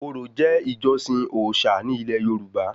Orò jẹ́ ìjọsìn òòṣà ní ilẹ̀ yorùbá